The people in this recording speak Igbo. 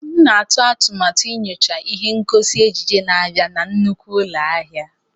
M na-eme atụmatụ inyocha ihe ngosi ejiji na-abịanụ na nnukwu ụlọ ahịa.